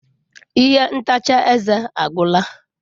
Ihe ntacha eze agwụla.